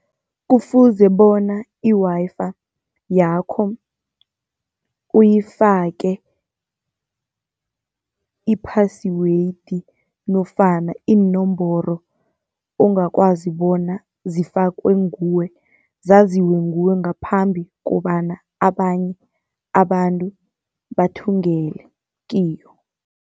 Kufuze bona i-Wi-Fi yakho uyifake i-password, nofana iinomboro ongakwazi bona zifakwe nguwe. Zaziwe nguwe ngaphambi kobana abanye abantu bathungele kiyo.